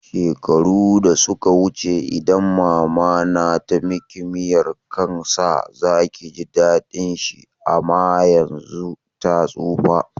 Shekaru da suka wuce idan mama na tamiki miyan kan sa zaki ji daɗin shi ama yanzun ta tsufa